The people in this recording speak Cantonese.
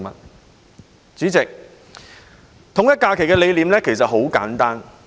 代理主席，統一假期的理念其實很簡單。